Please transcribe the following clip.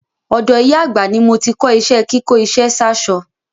Ọ̀dọ̀ ìyá àgbà ni mo ti kọ́ iṣẹ́ kíkó iṣẹ́ sáṣọ.